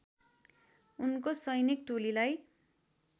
उनको सैनिक टोलीलाई